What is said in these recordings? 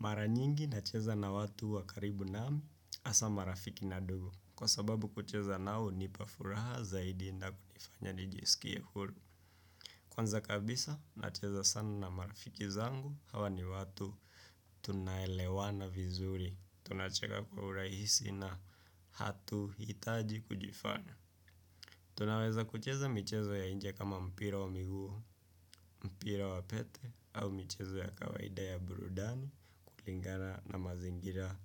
Mara nyingi nacheza na watu wa karibu naam asa marafiki na dugu. Kwa sababu kucheza nao hunipa furaha zaidi na kunifanya nijisikie huru. Kwanza kabisa nacheza sana na marafiki zangu hawa ni watu tunaelewana vizuri. Tunacheka kwa urahisi na hatuhitaji kujifanya. Tunaweza kucheza michezo ya inje kama mpira wa miguu, mpira wa pete, au michezo ya kawaida ya burudani, kulingana na mazingira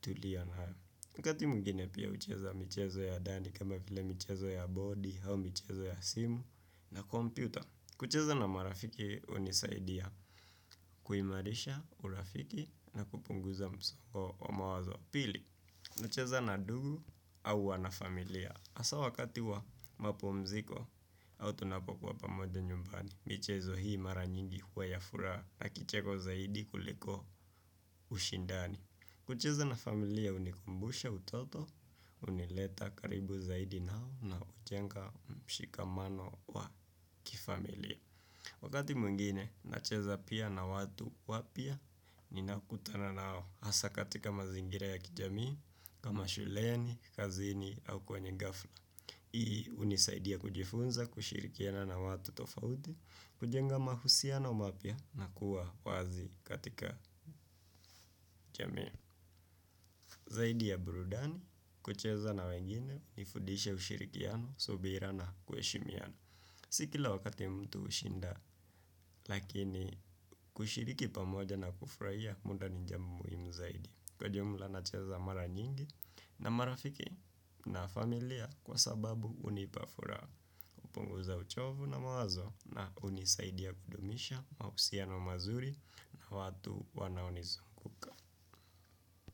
tulio na. Wakati mwingine pia hucheza michezo ya dani kama vile michezo ya boodi au michezo ya simu, na computer. Kucheza na marafiki unisaidia, kuimarisha, urafiki, na kupunguza msongo wa mawazo. Pili, nacheza na dugu au wanafamilia. Asaa wakati wa mapumziko au tunapokuwa pamoja nyumbani, michezo hii mara nyingi huwa ya furaha na kicheko zaidi kuliko ushindani. Kucheza na familia unikumbusha utoto, unileta karibu zaidi nao na ujenga mshikamano wa kifamilia. Wakati mwengine, nacheza pia na watu wapya ninaokutana nao hasa katika mazingira ya kijamii, kama shuleni, kazini au kwenye gafla. Hii unisaidia kujifunza, kushirikiana na watu tofauti, kujenga mahusiano mapya na kuwa wazi katika jamii. Zaidi ya burudani, kucheza na wengine, nifudishe ushirikiano, subira na kuheshimiana. Si kila wakati mtu ushinda lakini kushiriki pamoja na kufraia muda ni jambo muhimu zaidi. Kwa jumla nacheza mara nyingi na marafiki na familia kwa sababu unipa furaha upunguza uchovu na mawazo na unisaidia kudumisha mausiano mazuri na watu wanaonizunguka.